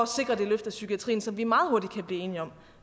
sikre det løft i psykiatrien som vi meget hurtigt kan blive enige om